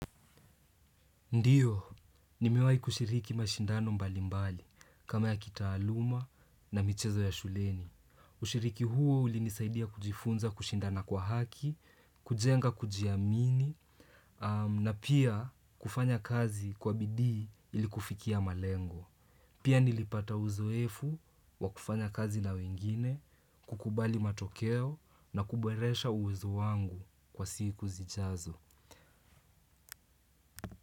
Ndio, nimiwahi kushiriki mashindano mbali mbali, kama ya kitaaluma na michezo ya shuleni. Kushiriki huo ulinisaidia kujifunza kushindana kwa haki, kujenga kujiamini, na pia kufanya kazi kwa bidii ilikufikia malengo. Pia nilipata uzoefu wa kufanya kazi na wengine, kukubali matokeo na kuboresha uwezo wangu kwa siku zijazo.